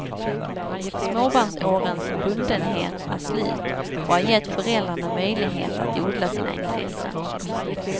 Småbarnsårens bundenhet är slut och har gett föräldrarna möjlighet att odla sina intressen.